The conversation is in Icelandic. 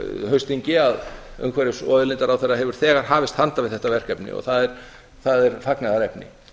haustþingi að umhverfis og auðlindaráðherra hefur þegar hafist handa við þetta verkefni og það er fagnaðarefni